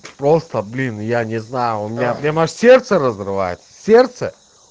просто блин я не знаю у меня прямо сердце разрывается сердце